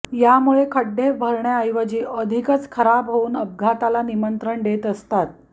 यामुळे खड्डे भरण्याऐवजी अधिकच खराब होऊन अपघाताला निमंत्रण देत असतात